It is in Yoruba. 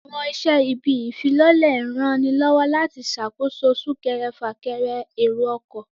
Àwọn iṣẹ́ bíi ìwé ìfilọ́lẹ̀ ń ranilọ́wọ́ láti ṣàkóso súnkẹrẹ fà kẹrẹ èrò ọkọ̀